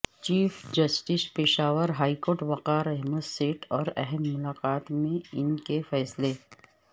chief justice Peshawar high court Waqar Ahmad Seth اور اہم معاملات میں ان کے فیصلے